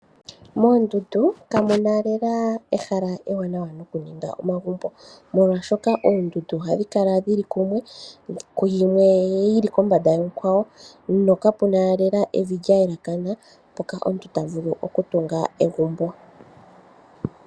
Moondundu ka muna lela ehala ewanawa noku ninga omagumbo, molwashoka oondundu ohadhi kala dhili kumwe. Ku yimwe yili kombanda yonkwawo, ano ka puna lela evi lya elekana mpoka omuntu ta vulu oku tunga egumbo.